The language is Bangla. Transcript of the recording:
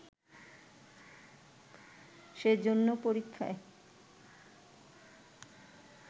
সেজন্য পরীক্ষায়